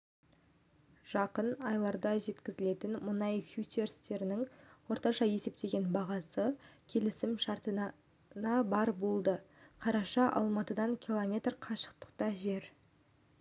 жақын айларда жеткізілетін мұнай фьючерстерінің орташа есептеген бағасы келісімшартына барр болды қарашада алматыдан километр қашықтықта жер